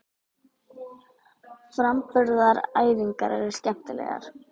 Framburðaræfingarnar eru skemmtilegar.